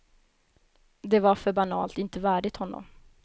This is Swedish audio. Det var för banalt, inte värdigt honom.